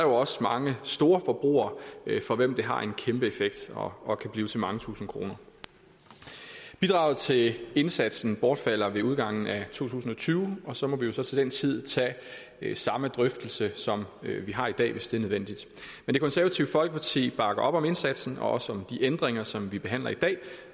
også mange storforbrugere for hvem det har en kæmpe effekt og hvor det kan blive til mange tusinde kroner bidraget til indsatsen bortfalder ved udgangen af to tusind og tyve og så må vi jo til den tid tage samme drøftelse som vi har i dag hvis det er nødvendigt men det konservative folkeparti bakker op om indsatsen og også om de ændringer som vi behandler i dag